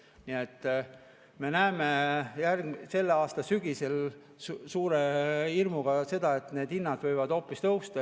Nii et me näeme suure hirmuga, et selle aasta sügisel need hinnad võivad tõusta.